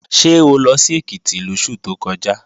Ṣé o lọ sí Èkìtì lóṣù tó kọjá?